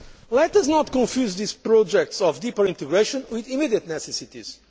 Let us not confuse these projects for deeper integration with immediate necessities.